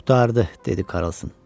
Qurtardı, dedi Karson.